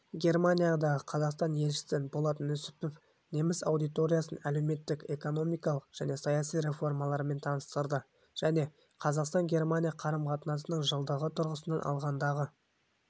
германиядағы қазақстан елшісі болат нүсіпов неміс аудиториясын әлеуметтік-экономикалық және саяси реформалармен таныстырды және қазақстан-германия қарым-қатынасының жылдығы тұрғысынан алғандағы